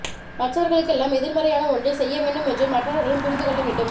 மற்றவர்களுக்கெல்லாம் எதிர்மறையான ஒன்றை செய்ய வேண்டும் என்று மற்றவர்களும் புரிந்து கொள்ள வேண்டும்